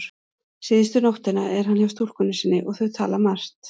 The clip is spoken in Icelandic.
Síðustu nóttina er hann hjá stúlkunni sinni og þau tala margt.